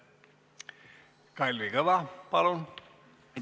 Kalvi Kõva, palun!